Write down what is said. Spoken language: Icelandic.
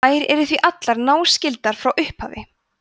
þær eru því allar náskyldar frá upphafi